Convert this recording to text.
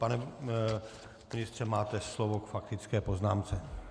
Pane ministře, máte slovo k faktické poznámce.